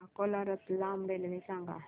Akola Ratlam railway सांगा